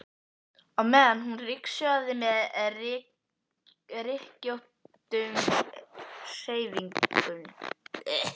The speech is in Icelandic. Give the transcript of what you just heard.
á meðan hún ryksugaði með rykkjóttum hreyfingum.